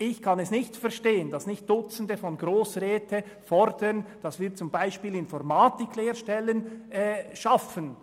Ich kann nicht verstehen, weshalb nicht Dutzende von Grossräten fordern, dass wir zum Beispiel Informatik-Lehrstellen schaffen.